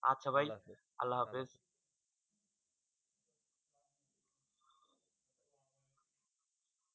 আচ্ছা ভাই আল্লাহ হাফিজ